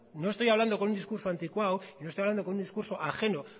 no estoy hablando con un discurso anticuado y no estoy hablando con un discurso ajeno